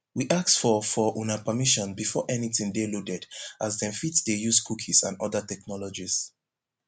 we ask for for una permission before anytin dey loaded as dem fit dey use cookies and oda technologies